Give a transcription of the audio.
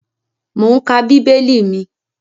Mò ún ka bíbélì mi